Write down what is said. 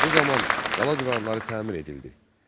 Bu zaman qala divarları təmir edildi.